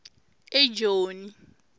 ejoni